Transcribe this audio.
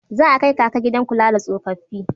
Za a kai Kaka gidan kula da tsofaffi.